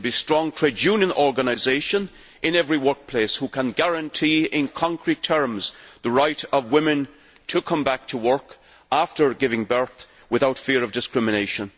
There should be strong trade union organisation in every workplace that can guarantee in concrete terms the right of women to come back to work after giving birth, without fear of discrimination.